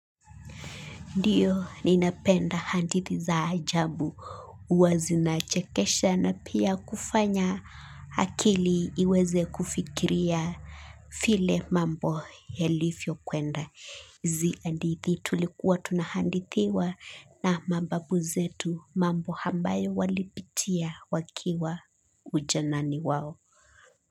Ndiyo ninapenda hadithi za ajabu huwa zinachekesha na pia kufanya akili iweze kufikiria vile mambo yalivvokwenda. Hizi hadithi tulikuwa tunahadithiwa na mababu zetu mambo ambayo walipitia wakiwa ujanani wao.